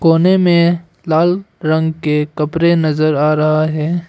कोने में लाल रंग के कपड़े नजर आ रहा हैं।